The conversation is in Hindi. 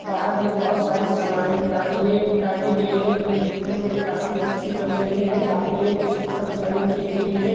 बाहर मे बहुत सारे सामायन टाँगे टांगी गई है जो देखने मे काफी अच्छी लग रही है सामने एक स्कूटर खड़ी की हुई है।